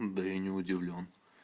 да я не удивлён